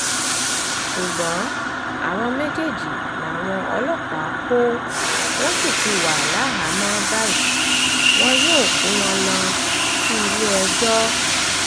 ṣùgbọ́n àwọn méjèèjì làwọn ọlọ́pàá kó wọ́n sì ti wà láhàámọ̀ báyìí wọn yóò kó wọn lọ sílé-ẹjọ́